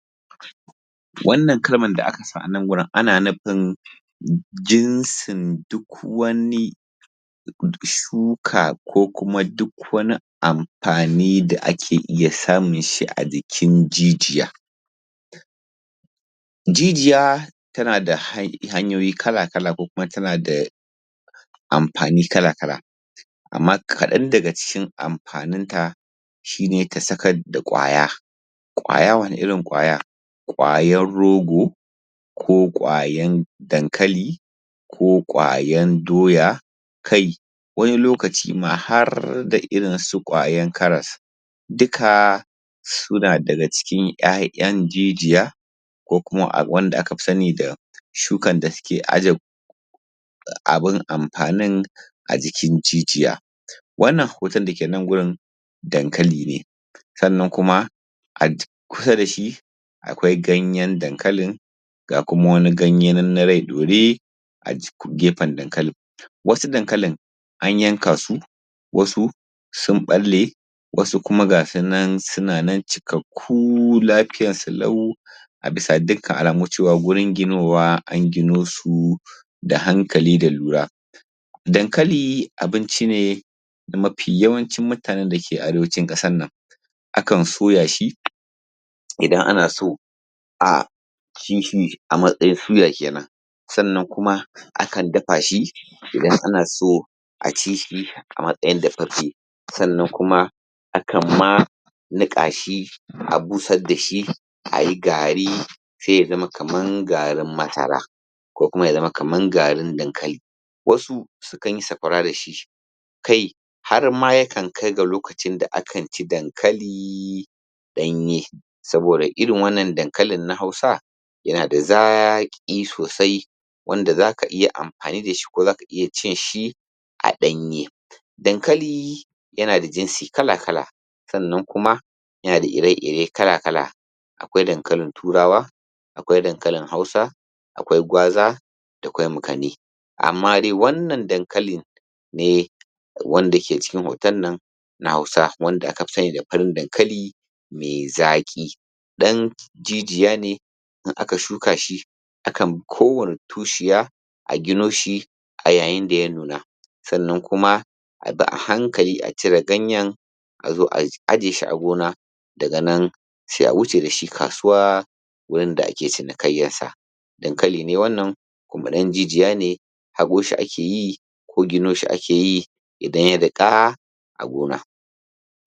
Wannan kalman da aka sa anan gurin ana nufin jinsin duk wani shuka ko kuma duk wani am fani da ake iya samun shi a jikin jijiya jijiya tana da hanyoyi kala-kala ko kuma tana da amfani kala-kala amma kaɗan daga cikin amfanin ta shi ne ka sakad da ƙwaya ƙwaya wani irin ƙwaya ƙwayar rogo ko ƙwayan dankali ƙwayan doya kai wani lokaci ma harda irin su ƙwayan karas duka suna daga cikin ƴaƴan jijiya ko kuma a wanda aka fi sanni da shukan da suke aje abun amfanin a jikin jijiya wannan hoton dake nan gurin dankali ne sannan kuma kusa dashi akwai ganyen dankalin ga kuma wani ganye nan na rai ɗore a jikin gefen dankalin wasu dankalin an yanka su wasu sun ɓalle wasu kuma ga sunan suna nan cikak kuu lafiyansu lau a bisa dukkan alamu cewa gurin ginowa an gino su da hankali da lura dankali abinci ne mafi yawancin mutanen dake arewacin ƙasan nan akan soya shi idan ana so a a matsayin suya kenan sannan kuma a kan dafa shi idan ana so a ci shi a matsayin dafaffe sannan kuma a kan ma niƙa shi a busar dashi ayi gari sai ya zama kaman garin masara ko kuma ya zama kaman garin dankali wasu su kanyi sakwara dashi kai harma ya kan kai ga lokacin da akan ci dankali ɗanye saboda irin wannan dankalin na hausa yanada zaƙi sosai wanda zaka iya amfani dashi ko zaka iya cin shi a ɗanye dankalii yana da jinsi kala-kala sannan kuma yana da ire-ire kala-kala akwai dankalin turawa akwai dankalin hausa akwai gwaza da kwai makani amma dai wannan dankalin ne wanda ke cikin hoton nan na hausa wanda aka fi sanni da farin dankali mai zaƙi ɗan jijiya ne in aka shuka shi akan ko wanne tushiya a gino shi yayin da ya nuna sannan kuma a bi a hankali a cire ganyen a zo a aje shi a gona daga nan sai a wuce dashi kasuwa gurin da ake cinikayyan sa dankali ne wannan kuma ɗan jijiya ne haƙo shi akeyi ko gino shi akeyi idan ya riƙa a gona